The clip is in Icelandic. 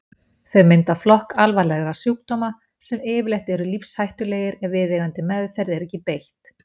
Þau mynda flokk alvarlegra sjúkdóma sem yfirleitt eru lífshættulegir ef viðeigandi meðferð er ekki beitt.